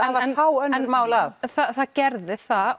fá önnur mál að það gerðu það